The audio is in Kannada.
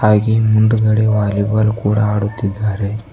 ಹಾಗೆ ಮುಂದುಗಡೆ ವಾಲಿಬಾಲ್ ಕೂಡ ಆಡುತ್ತಿದ್ದಾರೆ.